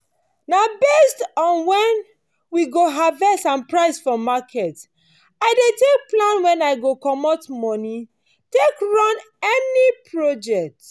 na based on when we go harvest and price for market i dey take plan when i go comot moni take take run any project.